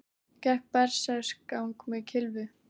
Gekk berserksgang með kylfu